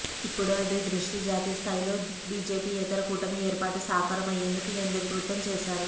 ఇప్పుడు అదే దృష్టి జాతీయ స్థాయిలో బీజేపీయేతర కూటమి ఏర్పాటు సాకారం అయ్యేందుకు కేంద్రీకృతం చేశారు